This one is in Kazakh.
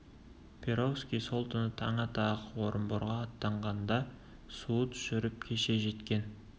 перовский сол түні таң ата-ақ орынборға аттанған да суыт жүріп кеше жеткен